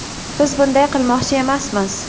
Biz bunday qilmoqchi emasmiz.